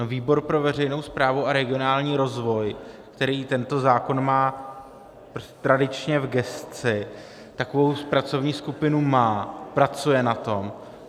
No, výbor pro veřejnou správu a regionální rozvoj, který tento zákon má tradičně v gesci, takovou pracovní skupinu má, pracuje na tom.